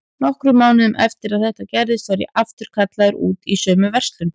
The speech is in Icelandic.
Nokkrum mánuðum eftir að þetta gerðist var ég aftur kallaður út í sömu verslun.